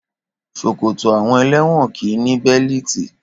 Ṣòkòtò àwọn ẹlẹ́wọ̀n kì í ní bẹ́líìtì.